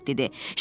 Piqlet dedi.